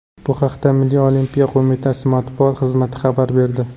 Bu haqda Milliy olimpiya qo‘mitasi matbuot xizmati xabar berdi .